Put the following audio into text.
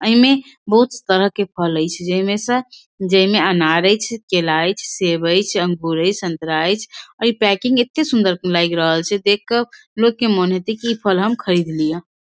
ये में बहुत तरह का फल हई छे जे में स जे में अनार हई केला हई सेब हई अंगूर हई संतरा हई और पैकिंग एते सुंदर हई लाइग रहल छे देख क लोग होइत की इ फल हम खरीद लिही।